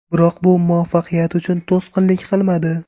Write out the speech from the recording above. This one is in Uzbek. Biroq bu muvaffaqiyat uchun to‘sqinlik qilmadi.